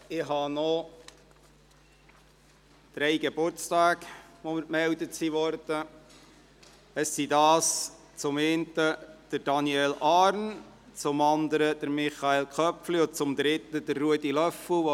Es wurden mir drei Geburtstage gemeldet, nämlich zum einen jener von Daniel Arn, zum anderen jener von Michael Köpfli und schliesslich der von Ruedi Löffel.